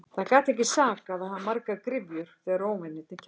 Það gat ekki sakað að hafa margar gryfjur þegar óvinirnir kæmu.